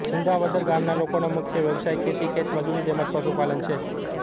સિંધાવદર ગામના લોકોનો મુખ્ય વ્યવસાય ખેતી ખેતમજૂરી તેમ જ પશુપાલન છે